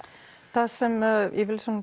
það sem ég vil